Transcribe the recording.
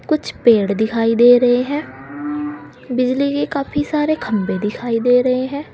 कुछ पेड़ दिखाई दे रहे है बिजली के काफी सारे खंबे दिखाई दे रहे है।